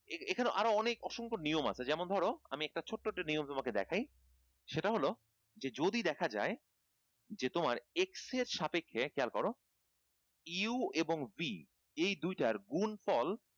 এখানে আরো অনেক অসংখ্য নিয়ম আছে যেমন ধরো আমি একটা ছোট্ট একটা নিয়ম তোমাকে দেখাই সেটা হলো যে যদি দেখা যায় যে তোমার x এর সাপেক্ষে খেয়াল করো u এবং b এই দুই টার গুনফল